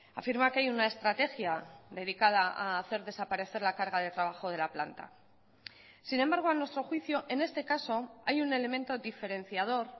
afirma que hay una estrategia dedicada a hacer desaparecer la carga de trabajo de la planta sin embargo a nuestro juicio en este caso hay un elemento diferenciador